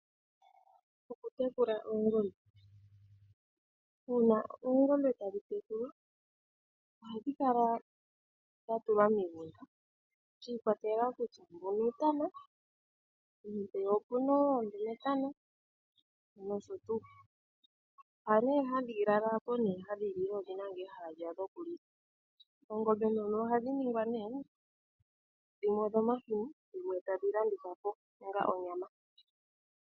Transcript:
Okutekula oongombe. Uuna oongombe tadhi tekulwa ohadhi kala dha tulwa miigunda. Shi ikwatelela kutya mbuno uutana, nenge mpeya opu na oondumetana nosho tuu. Mpa nee hadhi lala ha po nee gadhi lile odhina ngaa ehala lyadho lyokulila. Oongombe dhomo ohadhi ningwa nee dhimwe odhomahini dhimwe tadhi landithwa po onga onyama.